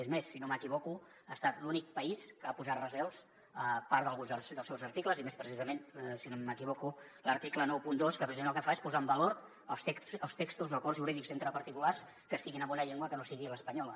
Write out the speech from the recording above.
és més si no m’equivoco ha estat l’únic país que ha posat recels a part d’alguns dels seus articles i més si no m’equivoco a l’article noranta dos que precisament el que fa és posar en valor els textos o acords jurídics entre particulars que estiguin en una llengua que no sigui l’espanyola